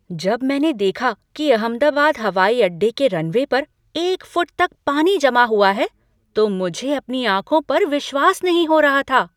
जब मैंने देखा कि अहमदाबाद हवाई अड्डे के रनवे पर एक फुट तक पानी जमा हुआ है तो मुझे अपनी आँखों पर विश्वास नहीं हो रहा था।